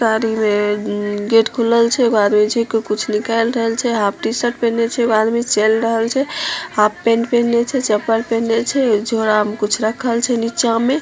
गाड़ी मे गेट खुलल छै एगो आदमी छैक के कुछ निकाल रहल छै हाफ टी-शर्ट पहीने छै एगो आदमी चल रहल छै हाफ पेन्ट पहेने छै चप्पल पहेने छै झोला मे कुछ रखल छै नीचा मे--